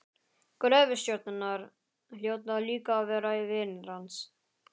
Gröfustjórarnir hljóta líka að vera vinir hans.